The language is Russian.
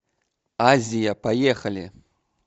азия поехали